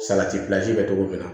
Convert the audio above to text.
Salati pilasi bɛ kɛ cogo min na